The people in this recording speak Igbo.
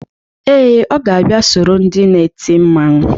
Ee, ọ ga-abịa soro ndị na-eti mmanwụ.